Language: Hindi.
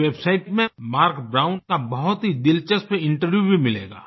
इस वेबसाइट में मार्क ब्राउन का बहुत ही दिलचस्प इंटरव्यू भी मिलेगा